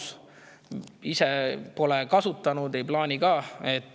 Ise ma pole kasutanud, ei plaani ka.